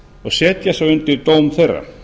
og setja svo undir dóm þeirra